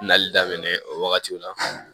Nali daminɛ o wagatiw la